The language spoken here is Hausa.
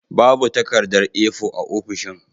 Babu takardar A4 a ofishin.